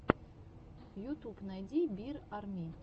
ютуб найди бир арми